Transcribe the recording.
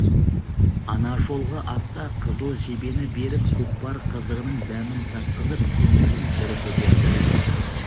ана жолғы аста қызыл жебені беріп көкпар қызығының дәмін татқызып көңілін бір көтерді